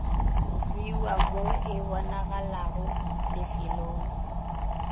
bewa mo e bonagalago lefelong